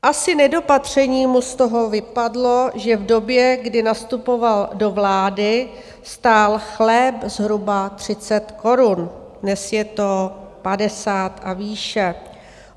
Asi nedopatřením mu z toho vypadlo, že v době, kdy nastupoval do vlády, stál chléb zhruba 30 korun, dnes je to 50 a výše.